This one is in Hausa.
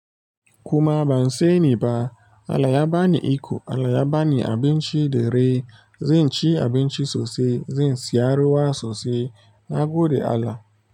Kuma ban sani ba, Allah ya bani iko, Allah ya bani abinci da rai. Zan ci abinci sosai, zan siya ruwa sosai. Na gode Allah.